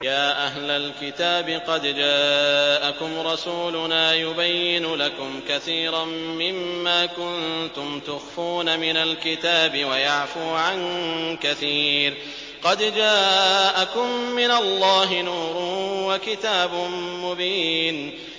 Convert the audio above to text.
يَا أَهْلَ الْكِتَابِ قَدْ جَاءَكُمْ رَسُولُنَا يُبَيِّنُ لَكُمْ كَثِيرًا مِّمَّا كُنتُمْ تُخْفُونَ مِنَ الْكِتَابِ وَيَعْفُو عَن كَثِيرٍ ۚ قَدْ جَاءَكُم مِّنَ اللَّهِ نُورٌ وَكِتَابٌ مُّبِينٌ